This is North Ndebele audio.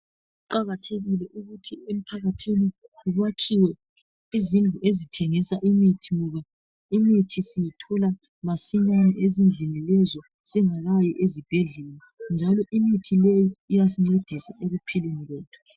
Kuqakathekile ukuthi emphakathini kwakhiwe izindlu ezithengisa imithi. Ngoba imithi siyithola masinyane ezindlini lezi singakayi ezibhedlela. Njalo imithi leyi iyasincedisa ekuphileni kwethu.